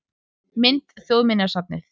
Mynd: Þjóðminjasafnið